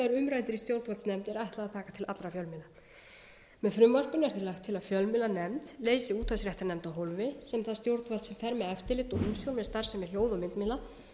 fjölmiðla með frumvarpinu er því lagt til að fjölmiðlanefnd leysi útvarpsréttarnefnd af hólmi um það stjórnvald sem fer með eftirlit og umsjón með starfsemi hljóð og myndmiðla